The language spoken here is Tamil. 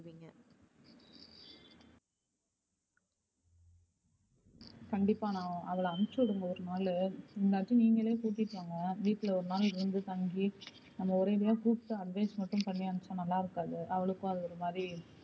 கண்டிப்பா நான் அவள அனுப்பிச்சு விடுங்க ஒரு நாலு இல்லாட்டி நீங்களே கூட்டிட்டு வாங்க வீட்ல ஒரு நாலு இருந்து தங்கி அங்க நம்ம ஒரேஅடியா கூப்பிட்டு advice மட்டும் பண்ணி அனுப்பிச்சா நல்லா இருக்காது அவளுக்கும் அது ஒரு மாதிரி